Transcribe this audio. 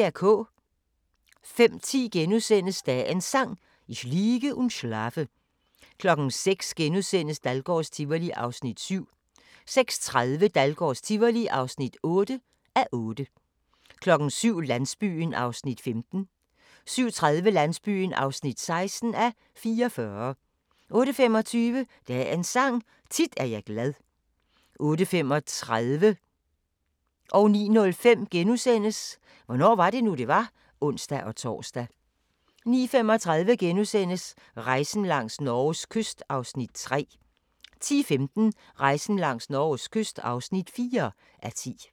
05:10: Dagens Sang: Ich liege und schlafe * 06:00: Dahlgårds Tivoli (7:8)* 06:30: Dahlgårds Tivoli (8:8) 07:00: Landsbyen (15:44) 07:30: Landsbyen (16:44) 08:25: Dagens Sang: Tit er jeg glad 08:35: Hvornår var det nu, det var? *(ons-tor) 09:05: Hvornår var det nu, det var? *(ons-tor) 09:35: Rejsen langs Norges kyst (3:10)* 10:15: Rejsen langs Norges kyst (4:10)